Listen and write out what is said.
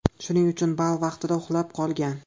Shuning uchun bal vaqtida uxlab qolgan.